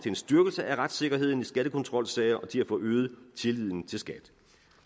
en styrkelse af retssikkerheden i skattekontrolsager og til at få øget tilliden til skat